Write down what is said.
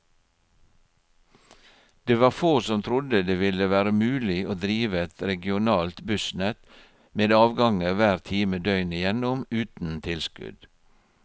Det var få som trodde det ville være mulig å drive et regionalt bussnett med avganger hver time døgnet igjennom uten tilskudd.